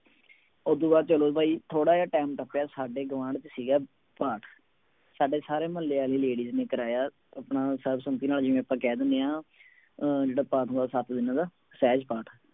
ਉਹਤੋਂ ਬਾਅਦ ਚਲੋ ਵੀ ਥੋੜ੍ਹਾ ਜਿਹਾ time ਟੱਪਿਆ ਸਾਡੇ ਗੁਆਂਢ ਚ ਸੀਗਾ ਪਾਠ ਸਾਡੇ ਸਾਰੇ ਮੁਹੱਲੇ ਵਾਲੀ ladies ਨੇ ਕਰਵਾਇਆ ਆਪਣਾ ਸਰਬਸਮਤੀ ਨਾਲ ਜਿਵੇਂ ਆਪਾਂ ਕਹਿ ਦਿੰਦੇ ਹਾਂ ਅਹ ਜਿਹੜਾ ਪਾਠ ਹੁੰਦਾ ਸੱਤ ਦਿਨਾਂ ਦਾ ਸਹਿਜ ਪਾਠ।